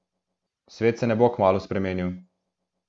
Svet se ne bo kmalu spremenil.